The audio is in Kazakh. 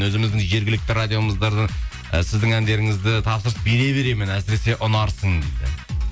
өзіміздің жергілікті радиомыздардан і сіздің әндеріңізді тапсырыс бере беремін әсіресе ұнарсың дейді